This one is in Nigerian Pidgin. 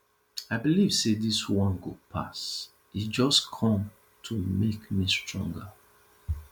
i believe say dis one go pass e just come to make me stronger